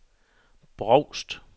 Brovst